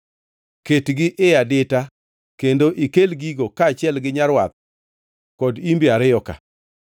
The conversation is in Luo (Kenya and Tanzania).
Ketgi ei adita kendo ikel gigo, kaachiel gi nyarwath kod imbe ariyo-ka.